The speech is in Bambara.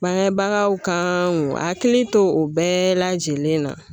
Bangebagaw ka hakili to o bɛɛ lajɛlen na